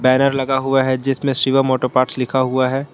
Banner लगा हुआ है जिसमें शिवम ऑटो पार्ट्स लिखा हुआ है।